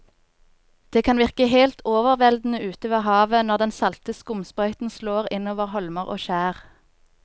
Det kan virke helt overveldende ute ved havet når den salte skumsprøyten slår innover holmer og skjær.